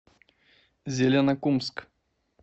зеленокумск